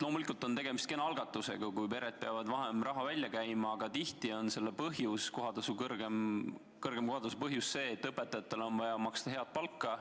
Loomulikult on tegemist kena algatusega, kui pered peavad vähem raha välja käima, aga tihti on kõrgema kohatasu põhjus see, et õpetajatele on vaja maksta head palka.